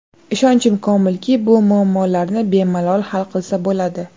Ishonchim komilki, bu muammolarni bemalol hal qilsa bo‘ladi.